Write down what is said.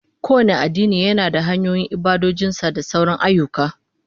Kowane addini yana da hanyoyin ibadojin sa da sauran ayyuka